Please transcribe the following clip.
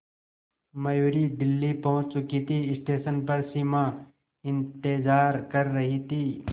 मयूरी दिल्ली पहुंच चुकी थी स्टेशन पर सिमा इंतेज़ार कर रही थी